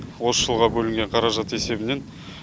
осы жылға бөлінген қаражат есебінен